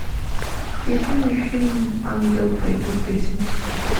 включи мне фильм ангел бэби песенки